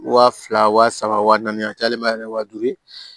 Wa fila wa saba wa naani a cayalen ma kɛ wa duuru ye